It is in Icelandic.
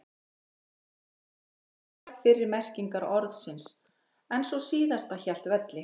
Með tímanum hurfu tvær fyrri merkingar orðsins en sú síðasta hélt velli.